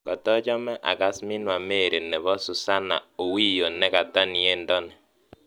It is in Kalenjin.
Kotochome akass Minwa Mary nebo Suzanna Owiyo nekata niendo ni